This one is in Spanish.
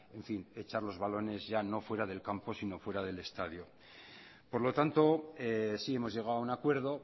en fin echar los balones ya no fuera del campo sino fuera del estadio por lo tanto sí hemos llegado a un acuerdo